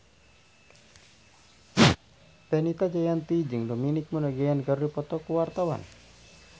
Fenita Jayanti jeung Dominic Monaghan keur dipoto ku wartawan